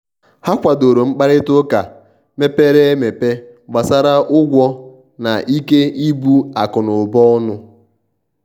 ha kwàdòrò mkparịta ụka mepere emepe gbàsara ụgwọ na ikè ibu akụ̀nụba ọnụ.